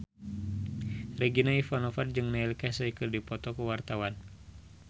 Regina Ivanova jeung Neil Casey keur dipoto ku wartawan